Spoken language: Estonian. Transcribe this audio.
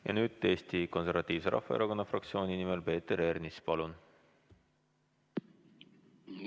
Ja nüüd Eesti Konservatiivse Rahvaerakonna fraktsiooni nimel Peeter Ernits, palun!